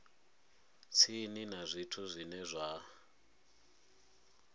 tsini na zwithu zwine zwa